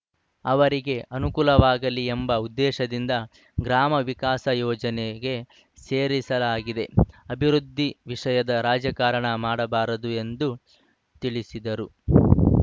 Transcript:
ಅವರಿಗೆ ಅನುಕೂಲವಾಗಲಿ ಎಂಬ ಉದ್ದೇಶದಿಂದ ಗ್ರಾಮ ವಿಕಾಸ ಯೋಜನೆಗೆ ಸೇರಿಸಲಾಗಿದೆ ಅಭಿವೃದ್ಧಿ ವಿಷಯದರಾಜಕಾರಣ ಮಾಡಬಾರದು ಎಂದು ತಿಳಿಸಿದರು